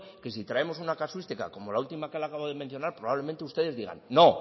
que si traemos una casuística como la última que le acabo de mencionar probablemente ustedes digan no